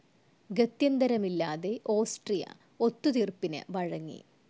ഗത്യന്തരമില്ലാതെ Austria ഒത്തു തീർപ്പിനു വഴങ്ങി.